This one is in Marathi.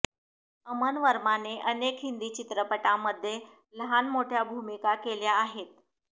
अमन वर्माने अनेक हिंदी चित्रपटांमध्ये लहान मोठ्या भूमिका केल्या आहेत